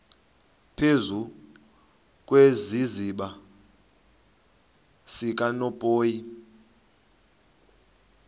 phezu kwesiziba sikanophoyi